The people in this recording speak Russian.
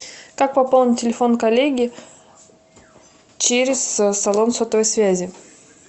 как пополнить телефон коллеги через салон сотовой связи